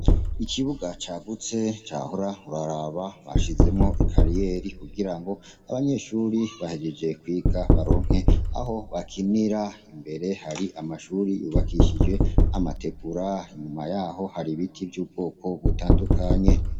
Ikibuga cagutse, wohora uraraba bashizemwo i kariyeri, kugira ngo abanyeshure bahejeje kwiga baronke aho bakinira. Imbere hari amashure yubakishije amategura; inyuma yaho hari ibiti vy’ubwoko butandukanye.